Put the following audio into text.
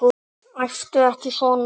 Æptu ekki svona!